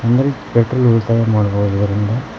ಅಂದ್ರೆ ಪೆಟ್ರೋಲ್ ಉಳ್ತಾಯ ಮಾಡ್ಬಹುದು ಇದರಿಂದ.